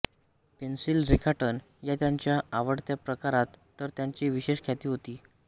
pencil रेखाटन या त्यांच्या आवडत्या प्रकारात तर त्यांची विशेष ख्याती होती